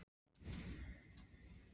Gísli: Já sem þú færð í vasann?